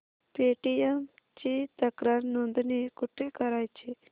Paytm ची तक्रार नोंदणी कुठे करायची